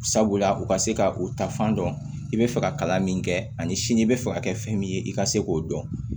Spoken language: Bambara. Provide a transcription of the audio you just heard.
Sabula u ka se ka o ta fan dɔn i bɛ fɛ ka kalan min kɛ ani sini i bɛ fɛ ka kɛ fɛn min ye i ka se k'o dɔn